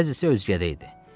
Bəzisi özgədə idi.